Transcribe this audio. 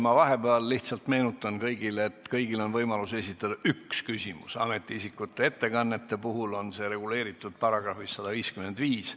Ma vahepeal meenutan teile, et kõigil on võimalus esitada üks küsimus, ametiisikute ettekannete puhul on see reguleeritud §-s 155.